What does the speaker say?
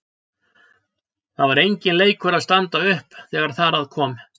Það var enginn leikur að standa upp þegar þar að kom.